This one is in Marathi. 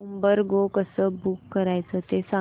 उबर गो कसं बुक करायचं ते सांग